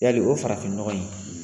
Yali o farafinnɔgɔ in